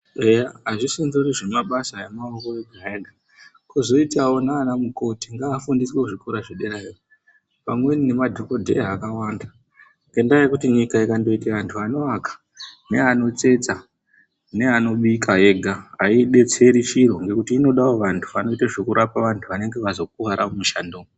Eya azvisindori zvemabasa emaoko ega ega, kwozoitawo nana mukoti ngavafundiswe kuzvikora zvederayo pamweni nemadhokodheya akawanda ngendaya yekuti nyika ikangoite antu anoaka neanotsetsa neanobika ega ayidetseri chiro ngekuti inodawo antu anoita zvekurapa antu anenge azokuwara mumishando umwu.